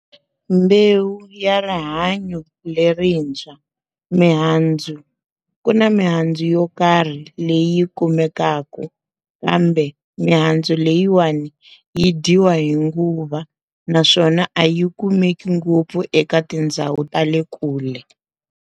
Mbewu ya rihanyo lerintshwa, mihandzu ku na mihandzu yo karhi leyi kumekaka kambe mihandzu leyiwani yi dyiwa hi nguva naswona a yi kumeki ngopfu eka tindhawu ta le kule.